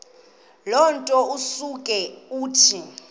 nto usuke uthi